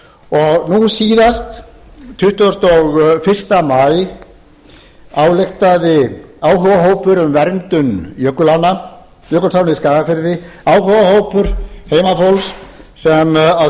nú síðast tuttugasta og fyrsta maí ályktaði áhugahópur um verndun j jökulánna í skagafirði áhugahópur heimafólks sem á